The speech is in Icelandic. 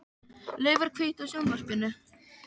Laufar, kveiktu á sjónvarpinu.